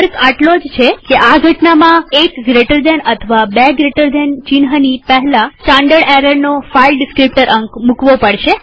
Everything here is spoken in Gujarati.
ફર્ક આટલો જ છે કે આ ઘટનામાં એક જમણા ખૂણાવાળા કૌંસ અથવા બે જમણા ખૂણાવાળા કૌંસ ચિહ્નની પહેલા સ્ટાનડર્ડ એરરનો ફાઈલ ડીસ્ક્રીપ્ટર અંક મુકવો પડશે